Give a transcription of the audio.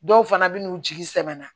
Dɔw fana bɛ n'u jigi sɛbɛ na